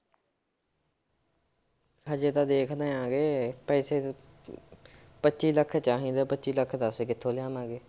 ਹਜੇ ਤਾਂ ਵੇਖਦੇ ਹੈਗੇਂ ਪੈਸੇ ਤਾਂ ਪੱਚੀ ਲੱਖ ਚਾਹੀਦਾ ਪੱਚੀ ਲੱਖ ਦੱਸ ਕਿੱਥੋਂ ਲਿਆਂਵਾਂਗੇ।